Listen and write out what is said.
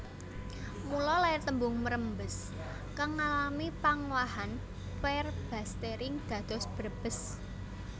Mula lair tembung mrembes kang ngalami pangowahan verbastering dados Brebes